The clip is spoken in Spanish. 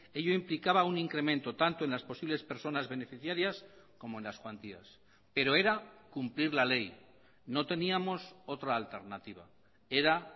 ello implicaba un incremento tanto en las posibles personas beneficiarias como en las cuantías pero era cumplir la ley no teníamos otra alternativa era